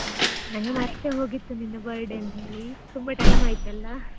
ನಂಗೆ ಮರ್ತೇ ಹೋಗಿತ್ತು ನಿನ್ birthday ಅಂತ ಹೇಳಿ ತುಂಬಾ time ಆಯಿತಲ್ಲಾ.